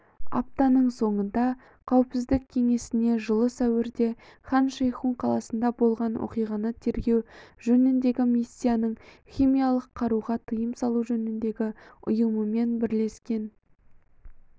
аптаның соңында қауіпсіздік кеңесіне жылы сәуірде хан шейхун қаласында болған оқиғаны тергеу жөніндегі миссияның химиялық қаруға тыйым салу жөніндегі ұйымымен бірлескен